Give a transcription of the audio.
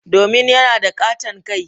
Domin yana da katon kai.